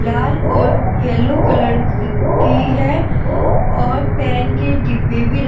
लाल और yellow colour की की है और पेन के डिब्बे भी रक --